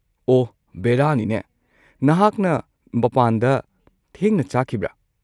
ꯑꯣꯍ ꯕꯦꯔꯥꯅꯤꯅꯦ, ꯅꯍꯥꯛꯅ ꯃꯄꯥꯟꯗ ꯊꯦꯡꯅ ꯆꯥꯈꯤꯕ꯭ꯔꯥ?